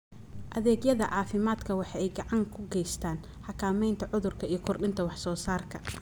Adeegyada caafimaadku waxa ay gacan ka geystaan ??xakamaynta cudurka iyo kordhinta wax soo saarka.